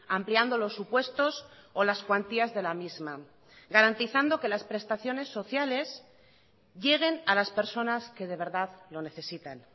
ampliando los supuestos o las cuantías de la misma garantizando que las prestaciones sociales lleguen a las personas que de verdad lo necesitan